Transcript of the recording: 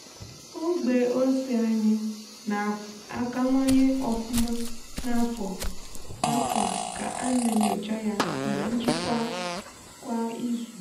ogbe ose anyị na-akawanye ofuma n'afọ a ka a na-enyocha ya na njikwa kwa izu.